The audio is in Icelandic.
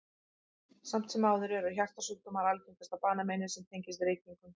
Samt sem áður eru hjartasjúkdómar algengasta banameinið sem tengist reykingum.